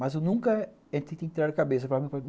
Mas eu nunca... a gente tem que tirar a cabeça.